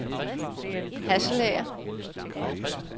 Hasselager